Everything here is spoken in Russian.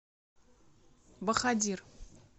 бахадир